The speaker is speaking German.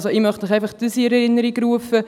Ich möchte Ihnen einfach in Erinnerung rufen: